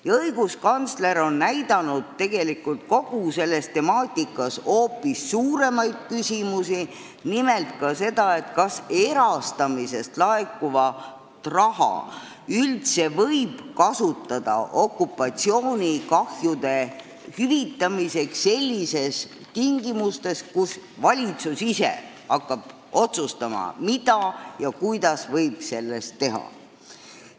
Ja õiguskantsler on kogu selle temaatika arutelul tõstatanud hoopis suuremaid küsimusi, nimelt ka seda, kas erastamisest laekuvaid summasid üldse võib kasutada okupatsioonikahjude hüvitamiseks sellistes tingimustes, kus valitsus ise hakkab otsustama, mida võib selle rahaga teha.